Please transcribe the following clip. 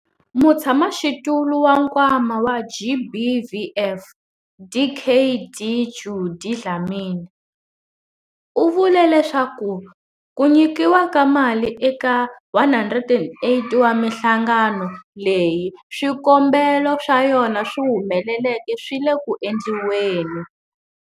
Mutshamaxitulu wa Nkwama wa GBVF, Dkd Judy Dlamini, u vule leswaku nyikiwa ka mali eka 108 wa mihlangano leyi swikombelo swa yona swi humeleleke swi le ku endliweni.